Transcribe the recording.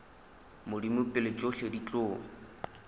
modimo pele tšohle di tlo